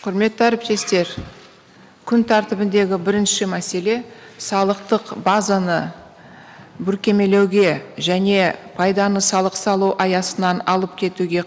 құрметті әріптестер күн тәртібіндегі бірінші мәселе салықтық базаны бүркемелеуге және пайданы салық салу аясынан алып кетуге